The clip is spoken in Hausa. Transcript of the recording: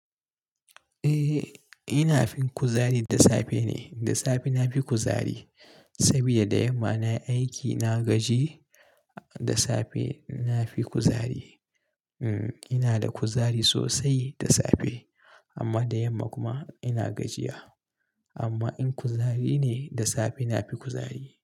Eh, ina fin kuzari da safe ne. Da safe na fi kuzari saboda da yamma na aiki, na gaji. Da safe na fi kuzari. Mm, ina da kuzari sosai da safe amma da yamma kuma ina gajiya. Amma in kuzari ne, da safe na fi kuzari.